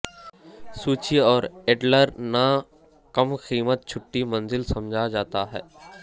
سوچی اور ایڈلر نہ کم قیمت چھٹی منزل سمجھا جاتا ہے